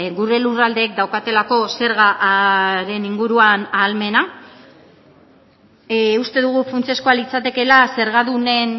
gure lurraldeek daukatelako zergaren inguruan ahalmena uste dugu funtsezkoa litzatekeela zergadunen